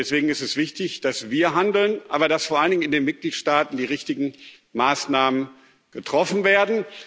Und deswegen ist es wichtig, dass wir handeln, aber dass vor allen Dingen in den Mitgliedstaaten die richtigen Maßnahmen getroffen werden.